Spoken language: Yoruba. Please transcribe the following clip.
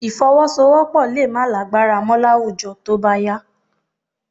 Ìfọwọ́sowọ́́pọ̀ lè má lágbára mọ́ láwùjọ tó bá yá